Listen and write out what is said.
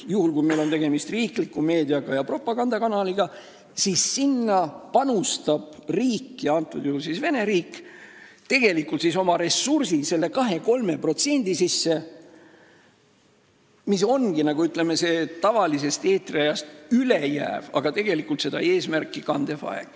Juhul, kui meil on tegemist riikliku meedia ja propagandakanaliga, paneb riik – praegusel juhul Vene riik – oma ressurssi selle 2–3% sisse, mis on n-ö tavalisest eetriajast üle jääv ja tegelikult reklaami eesmärki kandev aeg.